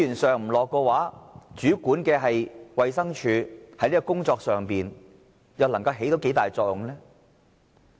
政府不投放資源，主管的衞生署在這個工作上，又能夠發揮多大作用呢？